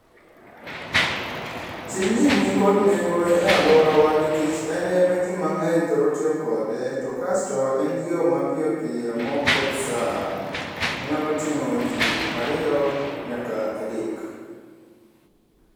Tijni nikod nengo e alworawa nikech ene ma ji mang'eny thoro tiyo kode. To kasto en yo mapiyopiyo maok keth sa, onyalo ting'o ji ariyo nyaka adek.